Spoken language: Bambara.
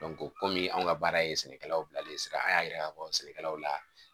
kɔmi anw ka baara ye sɛnɛkɛlaw bilalen ye sira an y'a yira k'a fɔ sɛnɛkɛlaw la